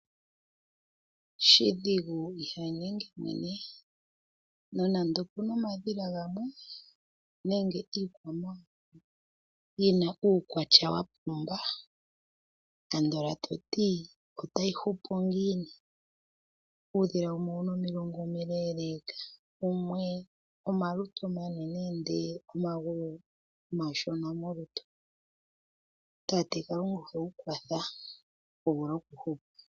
Shidhigu ihanyenge mwene nonande opu na omadhila gamwe, nenge iikwamawawa yi na uukwatya wa pumba, andola toti otayi hupu ngiini? uudhila wumwe owu na omilungu omileeleka, wumwe omalutu omanene ihe omagulu omashona molutu, tate kalunga ohewu kwatha wu vule okuhupa.